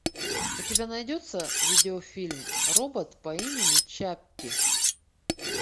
у тебя найдется видеофильм робот по имени чаппи